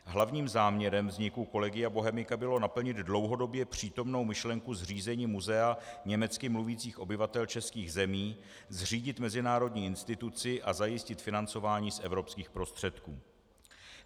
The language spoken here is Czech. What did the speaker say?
Hlavním záměrem vzniku Collegia Bohemica bylo naplnit dlouhodobě přítomnou myšlenku zřízení muzea německy mluvících obyvatel českých zemí, zřídit mezinárodní instituci a zajistit financování z evropských prostředků.